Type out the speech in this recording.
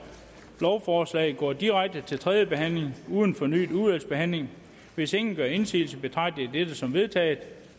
lovforslaget går direkte til tredje behandling uden fornyet udvalgsbehandling hvis ingen gør indsigelse betragter jeg dette som vedtaget